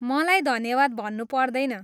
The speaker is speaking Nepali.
मलाई धन्यवाद भन्नु पर्दैन।